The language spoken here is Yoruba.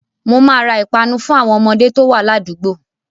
Mo máa ra ìpanu fún àwọn ọmọdé to wá ládùúgbò